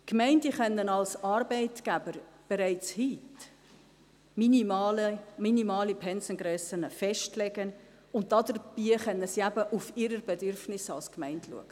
Die Gemeinden können als Arbeitgeber bereits heute minimale Pensengrössen festlegen, und dabei können sie eben auf ihre Bedürfnisse als Gemeinde schauen.